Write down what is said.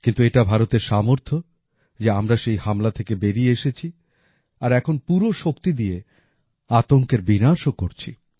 কিন্তু এটা ভারতের সামর্থ্য যে আমরা সেই হামলা থেকে বেরিয়ে এসেছি আর এখন পুরো শক্তি দিয়ে আতঙ্কের বিনাশও করছি